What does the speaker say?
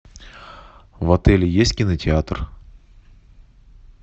в отеле есть кинотеатр